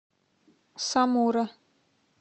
самура